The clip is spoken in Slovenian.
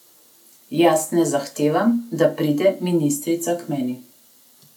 Jaz ne zahtevam, da pride ministrica k meni.